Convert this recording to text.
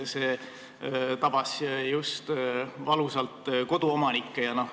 See tabas valusalt just koduomanikke.